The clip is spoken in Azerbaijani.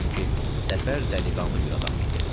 Çünki Səfər dəliqanlı bir adam idi.